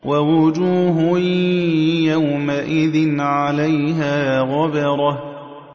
وَوُجُوهٌ يَوْمَئِذٍ عَلَيْهَا غَبَرَةٌ